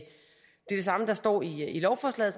det samme som der står i lovforslaget